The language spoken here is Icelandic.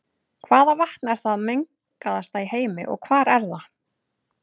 Hvaða vatn er það mengaðasta í heimi og hvar er það?